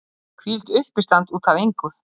Hvílíkt uppistand út af engu!